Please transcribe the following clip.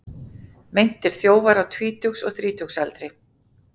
Meintir þjófar á tvítugs og þrítugsaldri